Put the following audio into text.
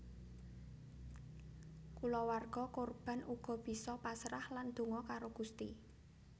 Kulawarga korban uga bisa pasrah lan donga karo Gusti